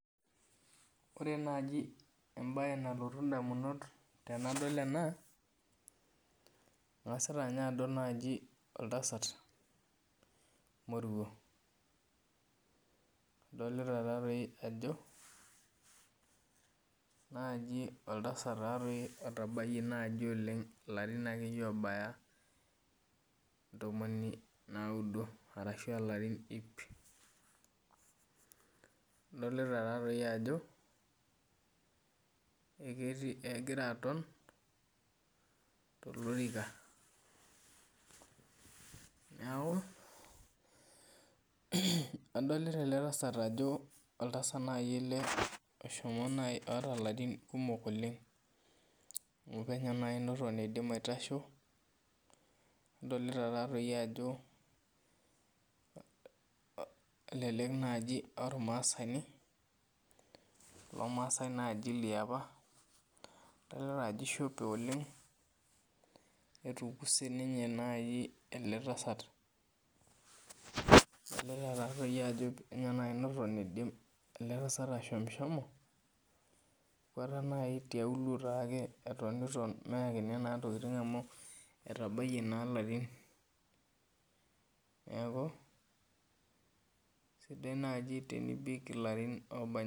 Ore nai embae nalotu ndamunot tanadol ena angasuta adol oltasat moruo adolta ajo naji oltasat naji otabayie akeeyie larin ntomoni oudo ashu larin ip adolta ajo ekegira aaton tolorika neaku adolta ele tasat ajo eshomo nai aaku keeta larin kumok oleng penyo nai neton idim aitasho adolta ajo elelek aa ormasani adolta ajo ishopo oleng netum ele tasat adolta ajo mekute eidim eletasat tiauluo egira atoni anya endaa etabayie na larin neaku sidai nai tenibik larin obanji.